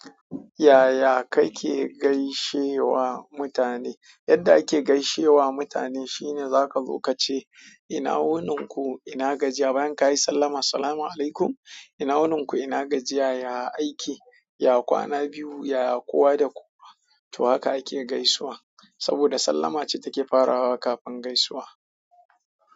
Yaya kake gaishewa mutane? Yadda ake gaishe wa mutane shine za ka zo ka ce ina wunin ku ina gajiya bayan ka yi sallama. Assalamualaikum ina wunin ku ina gajiya ya aiki ya kwana biyu ya kowa da kowa. To haka ake gaisuwa saboda sallama ce take farawa kafin gaisuwa.